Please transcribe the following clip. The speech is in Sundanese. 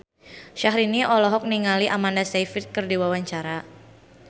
Syahrini olohok ningali Amanda Sayfried keur diwawancara